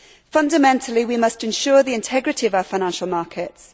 Fundamentally, we must ensure the integrity of our financial markets.